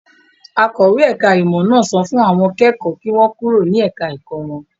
Akọ̀wé ẹ̀ka-ìmọ̀ náà sọ fún àwọn kẹ́kọ̀ọ́ kí wọ́n kúrò ní ẹ̀ka-ẹ̀kọ́ wọn.